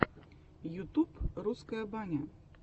ютуб русская баня